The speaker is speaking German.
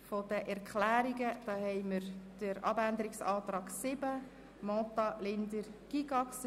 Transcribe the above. Es liegt die Planungserklärung 7 beziehungsweise der Abänderungsantrag Mentha/Linder/Gygax vor.